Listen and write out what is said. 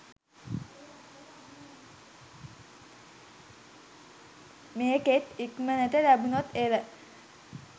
මේකෙත් ඉක්මනට ලැබුනොත් එල.